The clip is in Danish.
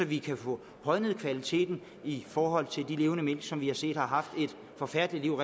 vi kan få højnet kvaliteten i forhold til af de levende mink som vi har set har haft et forfærdeligt